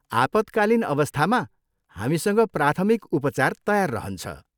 आपतकालीन अवस्थामा, हामीसँग प्राथमिक उपचार तयार रहन्छ।